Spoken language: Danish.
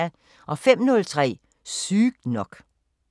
05:03: Sygt nok